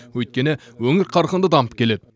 өйткені өңір қарқынды дамып келеді